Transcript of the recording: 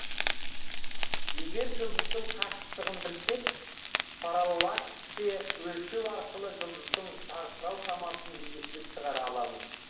егер жұлдыздың қашықтығын білсек параллаксті өлшеу арқылы жұлдыздың жарқырау шамасын есептеп шығара аламыз